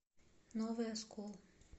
новый оскол